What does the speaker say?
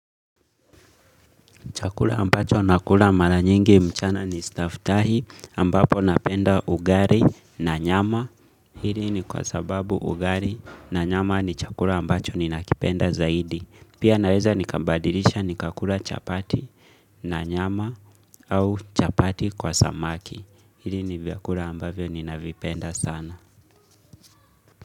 Chakula ambacho nakula mara nyingi mchana ni staftahi ambapo napenda ugali na nyama. Hili ni kwa sababu ugali na nyama ni chakula ambacho ninakipenda zaidi. Pia naweza nikabadilisha nikakula chapati na nyama au chapati kwa samaki. Hili ni vyakula ambavyo ninavipenda sana.